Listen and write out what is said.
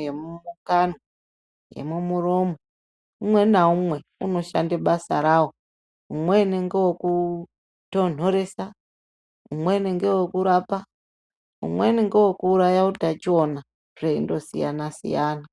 yemukanwa yemuromo umwe naumwe unoshanda basa rawo umweni ndewe kutondorosa umweni ndowokurapa umweni ndowe kuuraya utachiona zvei ndosiyana siyana.